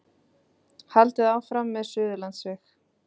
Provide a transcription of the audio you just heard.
Haldið áfram með Suðurlandsveg